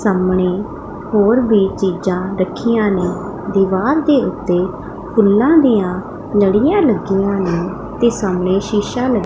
ਸਾਹਮਣੇ ਹੋਰ ਵੀ ਚੀਜ਼ਾਂ ਰੱਖੀਆਂ ਨੇ ਦੀਵਾਨ ਦੇ ਉੱਤੇ ਫੁੱਲਾਂ ਦੀਆਂ ਲੜੀਆਂ ਲੱਗੀਆਂ ਨੇ ਤੇ ਸਾਹਮਣੇ ਸ਼ੀਸ਼ਾ --